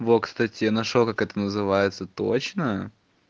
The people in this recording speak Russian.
вот кстати нашёл как это называется точно